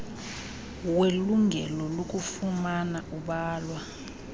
welungelo lokufumana ubalwa